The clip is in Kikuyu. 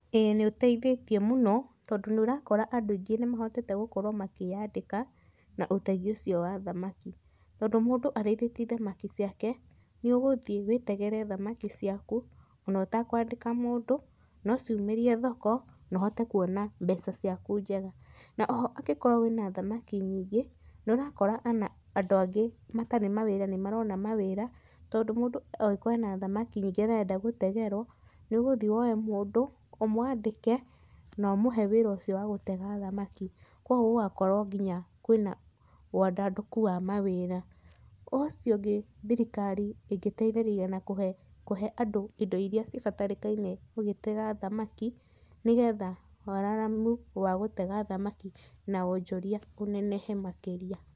Ĩĩ nĩũteithĩtie mũno tondũ nĩũrakora andũ aingĩ mahotete makĩandĩka na ũtegi ũcio wa thamaki, tondũ mũndũ ateithĩtie thamaki ciake nĩũgũthiĩ wĩtegere thamaki ciaku ona ũtekwandĩka mũndũ nociũmĩrie thoko na ũhote kwona mbeca ciaku njega na oho angĩkorwo wĩna thamaki nyingĩ nĩũrakora ona andũ angĩ matarĩ mawĩra nĩmarona mawĩra tondũ mũndũ angĩkoro ena thamaki arenda gũtegerwo nĩũgũthii wethe mũndũ ũmwandĩke noũmũhe wĩra ũcio wa gũtega thamaki kwoguo ũgakorwo nginya kwĩna wandandũku wa mawĩra. Ũcio ũngĩ thirikari ĩngĩteithĩrĩria na kũhe indo irĩa cibatairekaine ũgĩtega thamaki nĩgetha wararamu wagũtega thamaki na wojoria ũnenehe makĩria.